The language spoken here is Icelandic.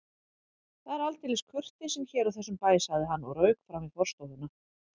Það er aldeilis kurteisin hér á þessum bæ sagði hann og rauk fram í forstofuna.